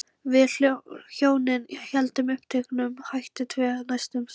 Við hjónin héldum uppteknum hætti tvö næstu sumur.